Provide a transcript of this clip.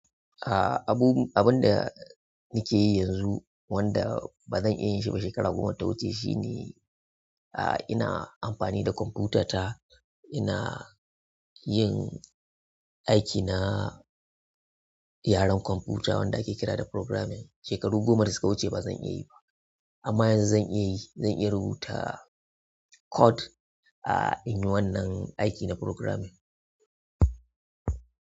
A'a, abu--abun da nake yi yanzu wanda ba zan iya yin shi ba shekaru goma da ta wuce shine, ah ina amfani da kwamfuta ta ina yin aiki na yaren kwamfuta wanda ake kira da programming. Shekaru goma da suka wuce ba zan iya yi ba amma yanzu zan iya yi, zan iya rubuta code, ah in yi wannan aiki na programming.